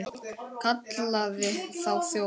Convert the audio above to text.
Kallaði þá þjófa.